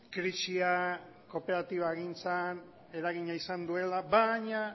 krisia kooperatibagintzan eragina izan duela baina